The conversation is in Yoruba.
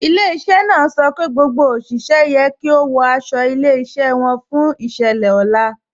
Ilẹ̀-iṣẹ́ náà sọ pé gbogbo oṣiṣẹ̀ yẹ kí o wọ̀ àṣọ ilẹ̀-iṣẹ́ wọn fún iṣẹ̀lẹ̀ ọlá.